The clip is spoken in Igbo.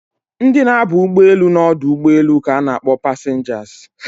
Ndị na aba ụgbọelu na ọdụ ụgbọelu ka na akpọ passengers